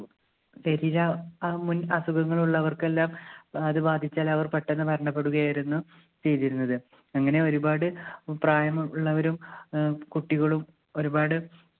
തിമിരം അസുഖങ്ങളുള്ളവർക്കെല്ലാം അത് ബാധിച്ചാൽ അവർ പെട്ടന്ന് മരണപ്പെടുകയായിരുന്നു ചെയ്തിരുന്നത്. അങ്ങനെ ഒരുപാട് പ്രായം ഉള്ളവരും ഏർ കുട്ടികളും ഒരുപാട്